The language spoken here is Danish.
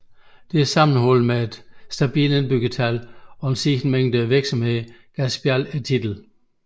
Dette sammenholdt med et stabilt indbyggertal og en stigende mængde virksomheder gav Spjald titlen